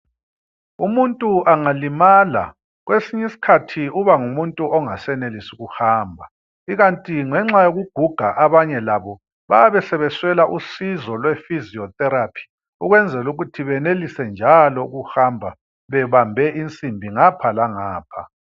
Umuntu angalimala kwesinye isikhathi uba ngumuntu ongasenelisi ukuhamba. Ikanti ngenxa yokuguga abanye labo bayabe sebeswela usizo lwephysiotherapy ukwenzela ukuthi benelise njalo ukuhamba bebambe insimbi ngapha langapha.